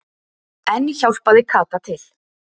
Enn hjálpaði Kata til.